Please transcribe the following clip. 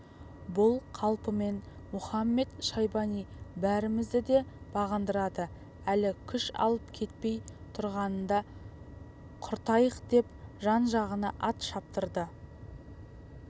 бұл қалпымен мұхамед-шайбани бәрімізді де бағындырады әлі күш алып кетпей тұрғанында құртайықдеп жан-жағына ат шаптырды